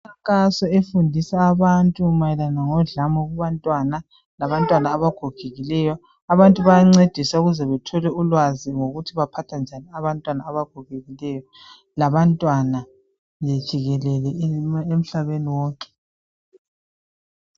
Imikhankaso efundisa abantwana mayelana ngodlame labantwana abagogekileyo abantu bayancedisa ukuze bethole ulwazi ngokuthi baphatha njani abantwana abagogekileyo labantwana jikelele emhlabeni wonke